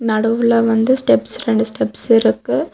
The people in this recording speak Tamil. நடுவுல வந்து ஸ்டெப்ஸ் ரெண்டு ஸ்டெப்ஸ் இருக்கு.